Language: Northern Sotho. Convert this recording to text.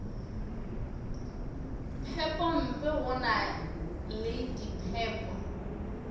phepompe go na le diphepo